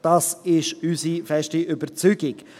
Das ist unsere feste Überzeugung.